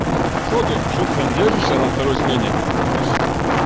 шо ты шо ты там держишься на второй смене дружище